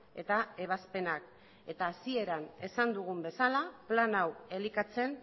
eta ebazpenak eta hasieran esan dugun bezala plan hau elikatzen